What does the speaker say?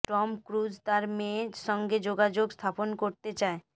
Tom Cruise তার মেয়ে সঙ্গে যোগাযোগ স্থাপন করতে চায়